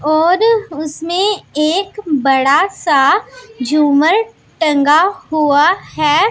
और उसमें एक बड़ा सा झूमर टंगा हुआ है।